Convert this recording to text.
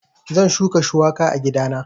Zan shuka shuwaka a gidana